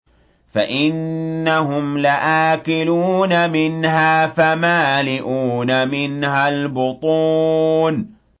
فَإِنَّهُمْ لَآكِلُونَ مِنْهَا فَمَالِئُونَ مِنْهَا الْبُطُونَ